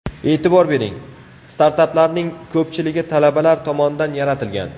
E’tibor bering, startaplarning ko‘pchiligi talabalar tomonidan yaratilgan.